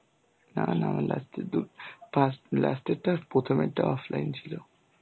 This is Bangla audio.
না না আমার last এর দু~ ফার্স্ট last এর টা আর প্রথমের টা offline ছিল.